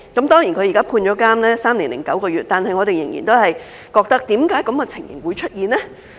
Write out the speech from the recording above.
雖然她現在被判處監禁三年零九個月，但我們仍然會問：為何這種情形會出現呢？